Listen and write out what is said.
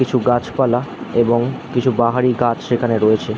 কিছু গাছপালা এবং কিছু বাহারি গাছ সেখানে রয়েছে।